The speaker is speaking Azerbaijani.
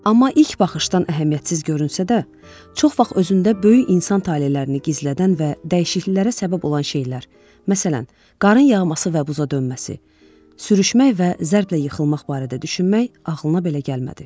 Amma ilk baxışdan əhəmiyyətsiz görünsə də, çox vaxt özündə böyük insan talelərini gizlədən və dəyişikliklərə səbəb olan şeylər, məsələn, qarın yağması və buza dönməsi, sürüşmək və zərblə yıxılmaq barədə düşünmək ağlına belə gəlmədi.